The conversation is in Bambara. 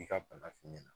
I ka bana f'i ɲɛna